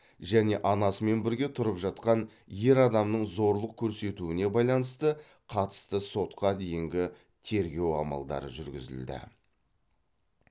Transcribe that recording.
және анасымен бірге тұрып жатқан ер адамның зорлық көрсетуіне байланысты қатысты сотқа дейінгі тергеу амалдары жүргізілді